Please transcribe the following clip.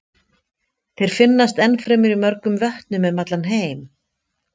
Þeir finnast ennfremur í mörgum vötnum um allan heim.